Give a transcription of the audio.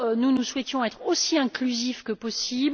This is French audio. Nous souhaitions être aussi inclusifs que possible.